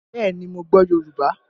Bẹẹ ni, mo gbọ́ Yorùbá